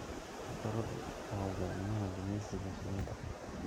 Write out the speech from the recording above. Boqoradu waa hogaamiyaha gumaysiga shinnida.